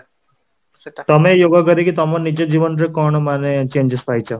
ତମେ yoga କରିକି ତମ ନିଜ ଜୀବନ ରେ କଣ ମାନେ changes ପାଇଛ?